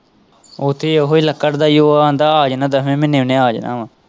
ਉੱਥੇ ਉਹੀ ਲੱਕੜ ਦਾ ਹੀ ਉਹ ਆਂਦਾ ਆ ਜਾਣਾ ਦਸਵੇਂ ਮਹੀਨੇ ਮੈਂ ਆ ਗਿਆ ਆਂ।